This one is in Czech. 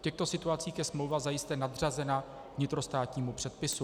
V těchto situacích je smlouva zajisté nadřazena vnitrostátnímu předpisu.